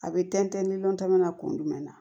A bɛ tɛntɛn ni llɔn tɛmɛ na kun jumɛn na